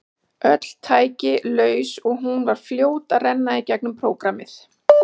Öll tæki laus og hún var fljót að renna í gegnum prógrammið.